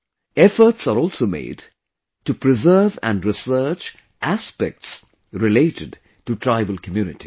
Efforts are also made to preserve and research aspects related to tribal communities